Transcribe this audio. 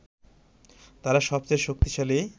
তারা সবচেয়ে শক্তিশালী